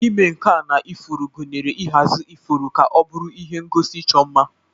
Ịme nka na ifuru gụnyere ịhazi ifuru ka ọ bụrụ ihe ngosi ịchọ mma.